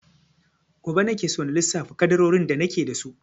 Gobe nake so na lissafa ƙaddarorin da nake da su.